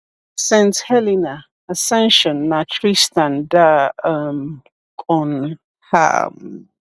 Saint Helena, Ascension, na Tristan da um Cunha um